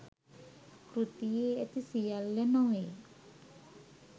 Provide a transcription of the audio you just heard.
කෘතියේ ඇති සියල්ල නොවේ